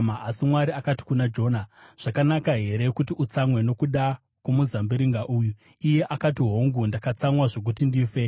Asi Mwari akati kuna Jona, “Zvakanaka here kuti utsamwe nokuda kwomuzambiringa uyu?” Iye akati, “Hongu, ndakatsamwa zvokuti ndife.”